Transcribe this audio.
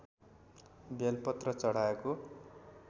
बेलपत्र चढाएको